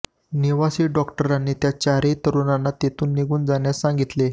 निवासी डॉक्टरांनी त्या चारही तरुणांना तेथून निघून जाण्यास सांगितले